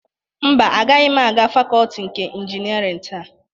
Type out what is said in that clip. Mba, agaghị m aga fakọọti nke injinịarịn taa.